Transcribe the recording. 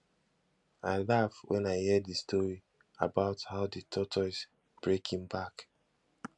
i laugh wen i hear the story about how the tortoise break im back